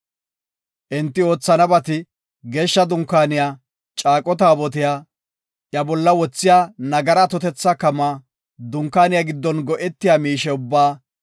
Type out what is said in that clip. Enti oothanabati, Geeshsha Dunkaaniya, Caaqo Taabotiya, iya bolla wothiya nagara atotetha kamaa, Dunkaaniya giddon go7etiya miishe ubbaa,